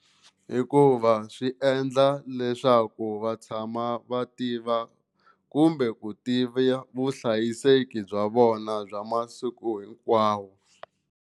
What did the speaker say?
Hikuva swi endla leswaku va tshama va tiva kumbe ku tiva vuhlayiseki bya vona bya masiku hinkwawo.